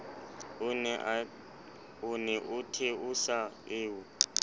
o ne o theosa eo